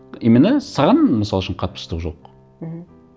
именно саған мысал үшін қатпыштық жоқ мхм